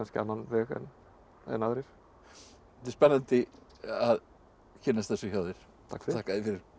annan veg en aðrir þetta er spennandi að kynnast þessu hjá þér þakka þér fyrir